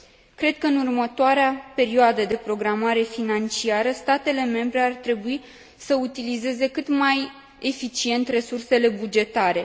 Cred că, în următoarea perioadă de programare financiară, statele membre ar trebui să utilizeze cât mai eficient resursele bugetare.